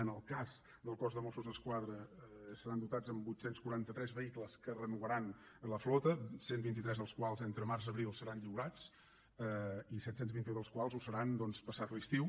en el cas del cos de mossos d’esquadra seran dotats amb vuit cents i quaranta tres vehicles que renovaran la flota cent i vint tres dels quals entre març i abril seran lliurats i set cents i vint un dels quals ho seran passat l’estiu